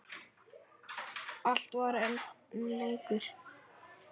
Allt var enn leikur.